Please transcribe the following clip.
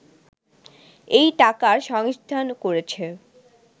এই টাকার সংস্থান করেছে